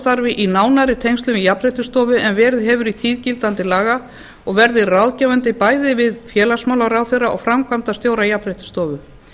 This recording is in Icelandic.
verði í nánari tengslum við jafnréttisstofu en verið hefur í tíð gildandi laga og verði ráðgefandi bæði við félagsmálaráðherra og framkvæmdastjóra jafnréttisstofu